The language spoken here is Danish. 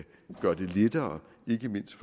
gøre det lettere ikke mindst